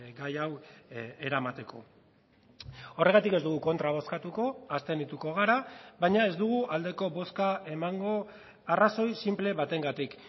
gai hau eramateko horregatik ez dugu kontra bozkatuko abstenituko gara baina ez dugu aldeko bozka emango arrazoi sinple batengatik